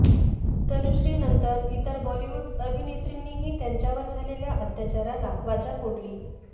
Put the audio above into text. तनुश्रीनंतर इतर बॉलिवूड अभिनेत्रींनीही त्यांच्यावर झालेल्या अत्याचाराला वाचा फोडली